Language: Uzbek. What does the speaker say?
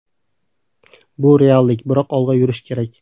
Bu reallik, biroq olg‘a yurish kerak.